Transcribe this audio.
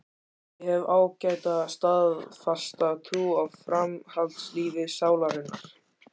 Ég hef ágæta og staðfasta trú á framhaldslífi sálarinnar.